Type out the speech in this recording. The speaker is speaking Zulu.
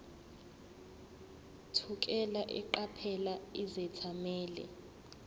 thukela eqaphela izethameli